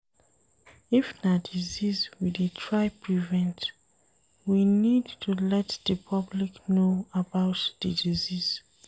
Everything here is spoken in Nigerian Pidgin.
If na disease we dey try prevent, we need to let di public know about di disease